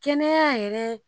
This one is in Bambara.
Kɛnɛya yɛrɛ